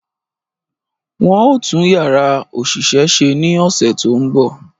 Wọ́n ó tún Yàrá òṣìṣẹ́ ṣe ní ọ̀sẹ̀ tó ń bọ̀